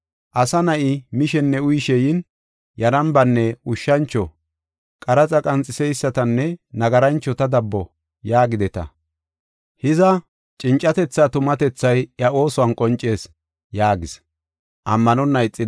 Asa Na7ay mishenne uyishe yin, ‘Yarambanne ushshancho, qaraxa qanxiseysatanne nagaranchota dabbo’ yaagideta. Hiza, cincatethaa tumatethay iya oosuwan qoncees” yaagis.